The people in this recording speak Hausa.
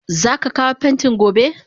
Zaka kawo pentin gobe?